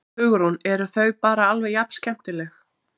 Hugrún: Eru þau bara alveg jafn skemmtileg?